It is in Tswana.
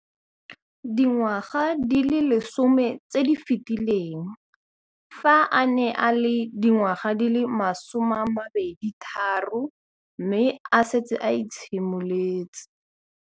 Dingwaga di le 10 tse di fetileng, fa a ne a le dingwaga di le 23 mme a setse a itshimoletse